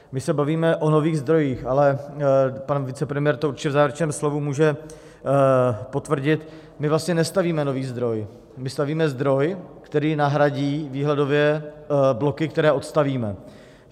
My se bavíme o nových zdrojích, ale pan vicepremiér to určitě v závěrečném slovu může potvrdit - my vlastně nestavíme nový zdroj, my stavíme zdroj, který nahradí výhledově bloky, které odstavíme.